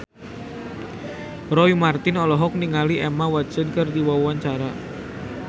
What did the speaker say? Roy Marten olohok ningali Emma Watson keur diwawancara